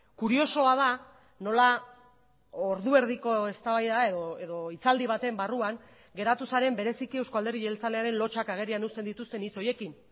kuriosoa da nola ordu erdiko eztabaida edo hitzaldi baten barruan geratu zaren bereziki eusko alderdi jeltzalearen lotsak agerian uzten dituzten hitz horiekin